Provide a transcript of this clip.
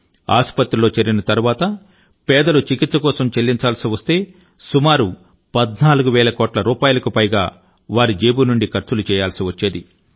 ఆసుపత్రిలో చేరిన తరువాత పేదలు చికిత్స కోసం చెల్లించాల్సి వస్తే సుమారు 14 వేల కోట్ల రూపాయలకు పైగా వారి జేబు నుండి ఖర్చులు చేయాల్సి వచ్చేది